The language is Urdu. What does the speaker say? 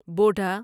بوڈھا